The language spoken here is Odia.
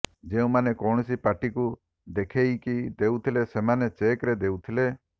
ଯେଉଁମାନେ କୌଣସି ପାର୍ଟିକୁ ଦେଖେଇକି ଦେଉଥିଲେ ସେମାନେ ଚେକ୍ ରେ ଦେଉଥିଲେ